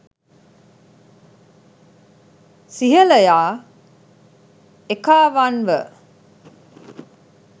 සිහලයා එකාවන්ව